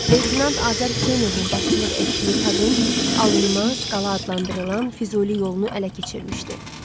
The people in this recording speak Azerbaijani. Leytenant Azər Hüseynovun başçılıq etdiyi taqım alınmaz qala adlandırılan Füzuli yolunu ələ keçirmişdi.